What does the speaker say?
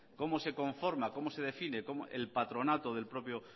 cómo se conforma cómo se define el patronato del propio